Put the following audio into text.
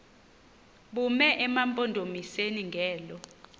bume emampondomiseni ngelo